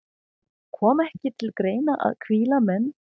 Kom ekki til greina að hvíla menn?